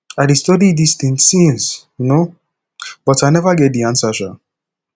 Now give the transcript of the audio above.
i dey study dis thing since um but i never get answer um